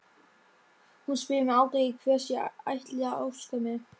Hún spyr mig aldrei hvers ég ætli að óska mér.